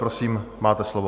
Prosím, máte slovo.